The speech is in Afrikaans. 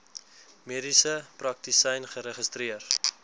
mediese praktisyn geregistreer